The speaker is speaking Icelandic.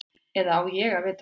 Eða á ég að vita það?